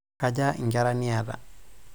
Kja nkera niata?